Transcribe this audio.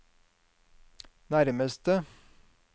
nærmeste